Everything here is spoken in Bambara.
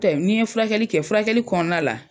Tɛ n'i ye furakɛli kɛ furakɛli kɔnɔna la,